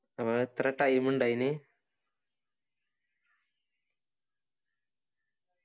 അപ്പൊ എത്ര time ഇണ്ട അയിന്